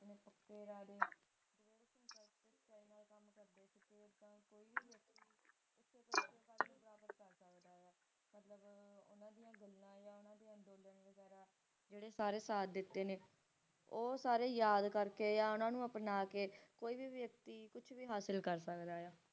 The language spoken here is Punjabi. ਜਿਹੜੇ ਸਾਰੇ ਦਿੱਤੇ ਨੇ ਉਹ ਸਾਰੇ ਯਾਦ ਕਰਕੇ ਓਹਨਾ ਨੂੰ ਆਪਣਾ ਕੇ ਕੋਈ ਵੀ ਵਿਅਕਤੀ ਕੁਛ ਵੀ ਹਾਸਲ ਕਰ ਸਕਦਾ